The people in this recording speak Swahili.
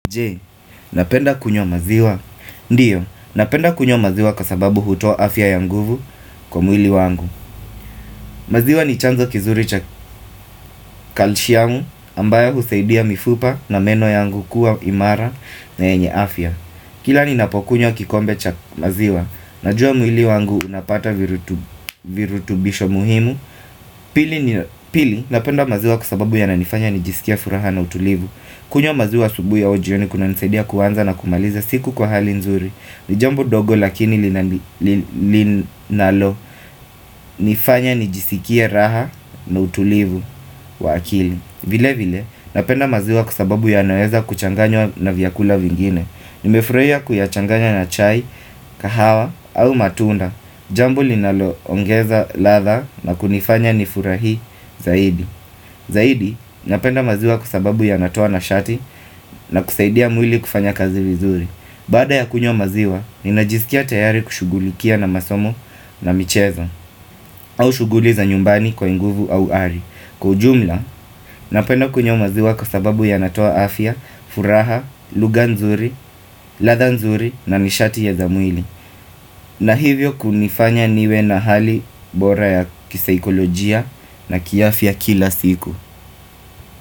Je, unapenda kunywa maziwa? Ndio, napenda kunywa maziwa kwa sababu hutoa afya ya nguve kwa mwili wangu. Maziwa ni chanzo kizuri cha calcium ambayo husaidia mifupa na meno yangu kuwa imara na yenye afya Kila ninapokunywa kikombe cha maziwa, najua mwili wangu unapata virutubisho muhimu. Pili, napenda maziwa kwa sababu yananifanya nijisikie furaha na utulivu. Kunywa maziwa asubuhi au jioni kunanisaidia kuanza na kumaliza siku kwa hali nzuri. Ni jambo ndogo lakini linalo nifanya nijisikie raha na utulivu wa akili. Vilevile napenda maziwa kwa sababu yanaweza kuchanganywa na vyakula vingine. Nimefurahia kuyachanganya na chai, kahawa au matunda Jambo linaloongeza ladha na kunifanya nifurahi zaidi Zaidi, napenda maziwa kwa sababu yanatoa nashati na kusaidia mwili kufanya kazi vizuri. Baada ya kunywa maziwa, ninajisikia tayari kushughulikia na masomo na michezo au shughuli za nyumbani kwa nguvu au ari. Kwa ujumla, napenda kunywa maziwa kwa sababu yanatoa afya, furaha, lugha nzuri, ladha nzuri na nishati ya za mwili. Na hivyo kunanifanya niwe na hali bora ya kisaikolojia na kiafya kila siku.